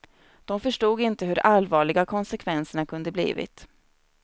De förstod inte hur allvarliga konsekvenserna kunde blivit.